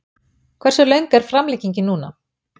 Hversu löng er framlengingin núna?